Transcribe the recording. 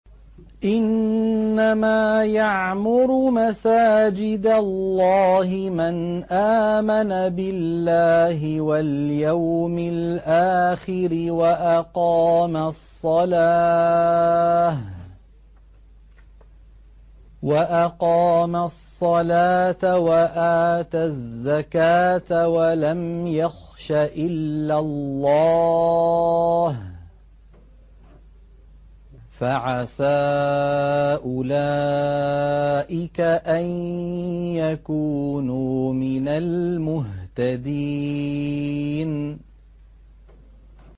إِنَّمَا يَعْمُرُ مَسَاجِدَ اللَّهِ مَنْ آمَنَ بِاللَّهِ وَالْيَوْمِ الْآخِرِ وَأَقَامَ الصَّلَاةَ وَآتَى الزَّكَاةَ وَلَمْ يَخْشَ إِلَّا اللَّهَ ۖ فَعَسَىٰ أُولَٰئِكَ أَن يَكُونُوا مِنَ الْمُهْتَدِينَ